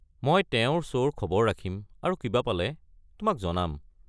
মই তেওঁৰ শ্ব'ৰ খবৰ ৰাখিম আৰু কিবা পালে তোমাক জনাম।